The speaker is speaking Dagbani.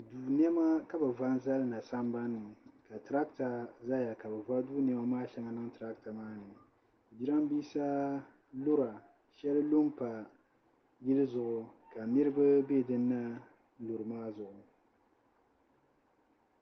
Duu nɛma ka bɛ va n-zali na sambani ni ka tarata zaya ka bɛ va duu nɛma shɛŋa n-niŋ tarata maa ni jirambiisa lura shɛli lu m-pa yili zuɣu ka niriba be din na luri maa zuɣu.